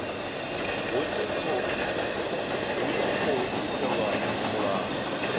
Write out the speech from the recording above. hu tshi tkhou itelwa mulayo